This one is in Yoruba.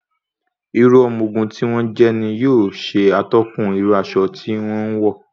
Irú ọmọ ogun tí wọ́n jẹ́ ní yóò ṣe atọ́kùn irú aṣọ tí wọn ń wọ̀.